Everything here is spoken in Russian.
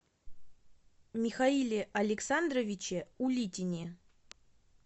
михаиле александровиче улитине